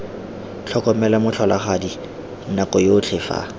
tlhokomela motlholagadi nako yotlhe fa